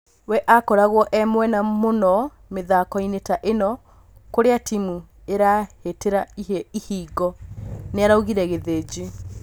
We akoragwo e mwega mũno mĩthakoinĩ ta ĩno kũrĩa timu irahĩtĩra ihingo" nĩaraugire Githinji